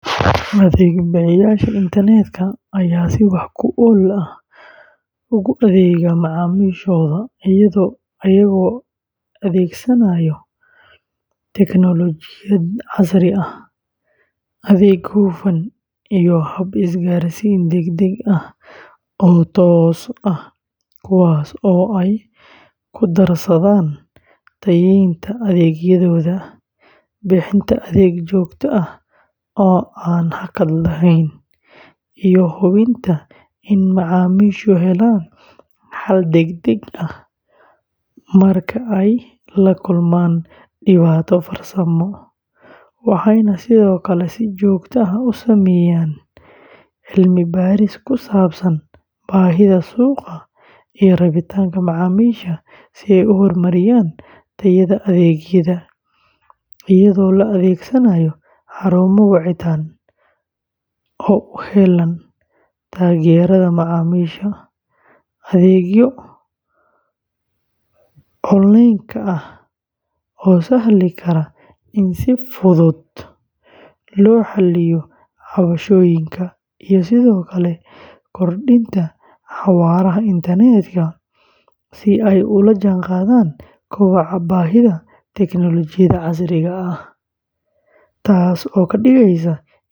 Adeeg bixiyeyaasha internetka ayaa si wax ku ool ah ugu adeega macaamiishooda iyagoo adeegsanaya tignoolajiyad casri ah, adeeg hufan, iyo hab isgaarsiin degdeg ah oo toos ah, kuwaas oo ay ku darsadaan tayeynta adeegyadooda, bixinta adeeg joogto ah oo aan hakad lahayn, iyo hubinta in macaamiishu helaan xal degdeg ah marka ay la kulmaan dhibaato farsamo, waxayna sidoo kale si joogto ah u sameeyaan cilmi baaris ku saabsan baahida suuqa iyo rabitaanka macaamiisha si ay u horumariyaan tayada adeegyada, iyadoo la adeegsanayo xarumo wacitaan oo u heellan taageerada macaamiisha, adeegyo onlineka ah oo sahli kara in si fudud loo xalliyo cabashooyinka, iyo sidoo kale kordhinta xawaaraha internetka si ay ula jaanqaadaan kobaca baahida tignoolajiyada casriga ah, taasoo ka dhigaysa inay helaan kalsoonida macaamiisha kuna sii wataan tartanka suuqa.